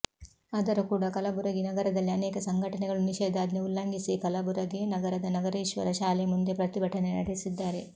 ಆದರೂ ಕೂಡ ಕಲಬುರಗಿ ನಗರದಲ್ಲಿ ಅನೇಕ ಸಂಘಟನೆಗಳು ನಿಷೇಧಾಜ್ಞೆ ಉಲ್ಲಂಘಿಸಿ ಕಲಬುರಗಿ ನಗರದ ನಗರೇಶ್ವರ ಶಾಲೆ ಮುಂದೆ ಪ್ರತಿಭಟನೆ ನಡೆಸಿದ್ದಾರೆ